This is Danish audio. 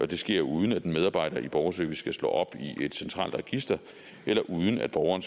det sker uden at en medarbejder i borgerservice skal slå op i et centralt register eller uden at borgeren